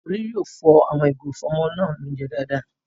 Tolú yóò fọ àwọn ìgò ìfọ́mọlóunjẹ náà dáadáa